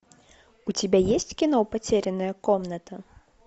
у тебя есть кино потерянная комната